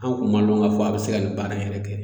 An kun ma lɔn k'a fɔ a be se ka nin baara in yɛrɛ kɛ